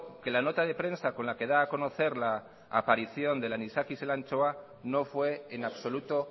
que la nota de prensa con la que da a conocer la aparición del anisakis en la anchoa no fue en absoluto